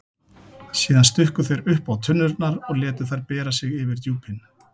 Síðan stukku þeir uppá tunnurnar og létu þær bera sig yfir djúpin.